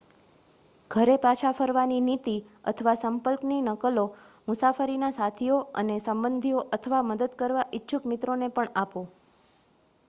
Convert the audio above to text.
ઘરે પાછા ફરવાની નીતિ/સંપર્કની નકલો મુસાફરીના સાથીઓ અને સંબંધીઓ અથવા મદદ કરવા ઇચ્છુક મિત્રોને પણ આપો